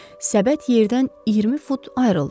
Səbət yerdən 20 fut ayrıldı.